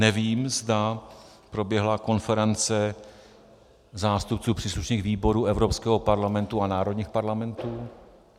Nevím, zda proběhla konference zástupců příslušných výborů Evropského parlamentu a národních parlamentů.